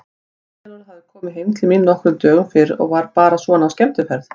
Eyjólfur hafði komið heim til mín nokkrum dögum fyrr og var bara svona á skemmtiferð.